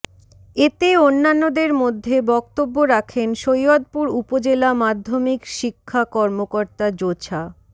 এতে অন্যান্যদের মধ্যে বক্তব্য রাখেন সৈয়দপুর উপজেলা মাধ্যমিক শিক্ষা কর্মকর্তা মোছা